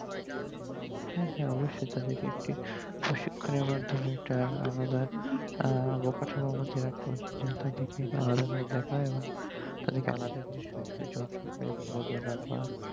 হ্যাঁ হ্যাঁ অবস্যই তাদেরকে একটি প্রশিক্ষণ এর মাধ্যমে তা আলাদা আহ কাঠামোর মধ্যে রাখা উচিত তাদিকে আলাদা ভাবে দেখা হয় এবং তাদিকে আলাদা